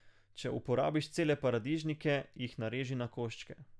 Če uporabiš cele paradižnike, jih nareži na koščke.